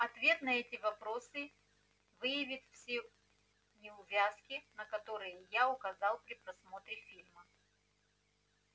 ответ на эти вопросы выявит все неувязки на которые я указал при просмотре фильма